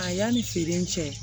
A yanni feere in cɛ